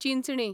Chinchani